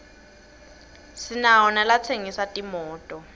sinawo nalatsengisa timoto